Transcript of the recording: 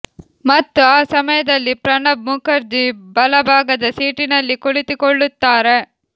ಮತ್ತು ಆ ಸಮಯದಲ್ಲಿ ಪ್ರಣಬ್ ಮುಖರ್ಜಿ ಬಲ ಭಾಗದ ಸೀಟಿನಲ್ಲಿ ಕುಳಿತುಕೊಳ್ಳುತ್ತಾರೆ